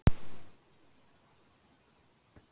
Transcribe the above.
Pólitíkusarnir fóru og hrópuðu gleðileg jól